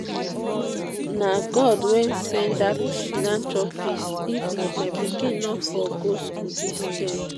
na god wey send dat philanthropist if not my pikin no for go school dis term